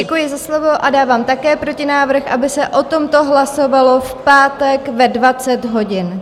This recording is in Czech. Děkuji za slovo a dávám také protinávrh, aby se o tomto hlasovalo v pátek ve 20 hodin.